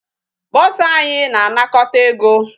Bursar anyị na-anakọta ego.